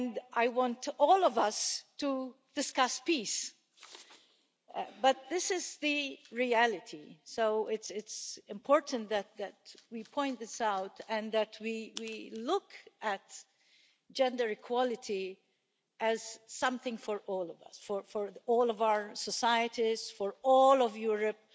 I want to all of us to discuss peace but this is the reality, so it's important that we point this out and that we look at gender equality as something for all of us, for all of our societies, for all of Europe,